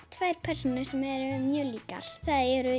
tvær persónur sem eru mjög líkar það eru